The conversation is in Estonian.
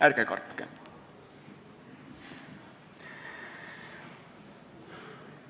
Ärge kartke!